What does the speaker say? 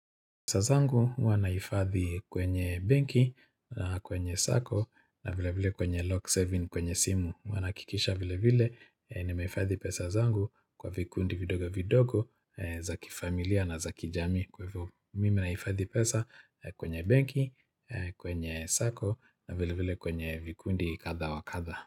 Pesa zangu huwa nahifadhi kwenye benki, kwenye sacco, na vile vile kwenye lock saving kwenye simu. Huwa nahakikisha vile vile nimehifadhi pesa zangu kwa vikundi vidogo vidogo, za kifamilia na za kijamii kwa hivyo Mimi nahifadhi pesa kwenye benki, kwenye sacco, na vile vile kwenye vikundi kadha wakatha.